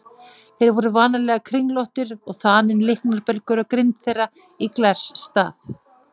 Þeir voru vanalega kringlóttir og þaninn líknarbelgur á grind þeirra í glers stað.